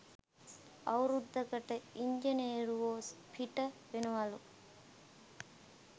අවුරුද්දකට ඉංජිනේරුවො පිට වෙනවලු